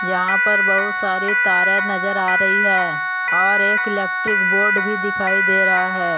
यहां पर बहुत सारे तारे नजर आ रही है और एक इलेक्ट्रिक बोर्ड भी दिखाई दे रहा है।